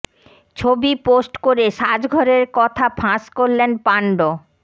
ছবি পোস্ট করে সাজঘরের কথা ফাঁস করলেন পাণ্ড্য